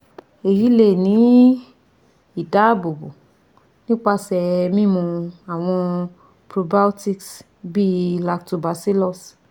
Eyi le ni idaabobo nipasẹ mimu awọn probiotics bii lactobacillus